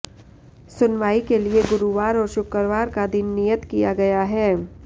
सुनवाई के लिए गुरूवार और शुक्रवार का दिन नियत किया गया है